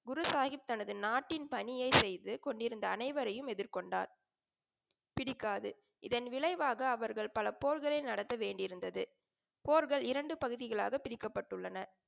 குரு சாஹிப் தனது நாட்டின் பணியை செய்துகொண்டிருந்த அனைவரையும் எதிர்கொண்டார். பிடிக்காது. இதன் விளைவாக அவர்கள் பல போர்களை நடத்த வேண்டியிருந்தது. போர்கள் இரண்டு பகுதிகளாக பிரிக்கப்பட்டுள்ளன.